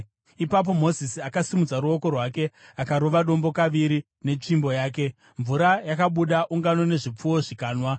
Ipapo Mozisi akasimudza ruoko rwake akarova dombo kaviri netsvimbo yake. Mvura yakabuda, ungano nezvipfuwo zvikanwa.